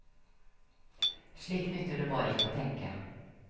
Slik nytter det bare ikke å tenke.